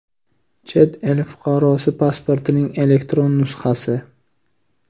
chet el fuqarosi pasportining elektron nusxasi;.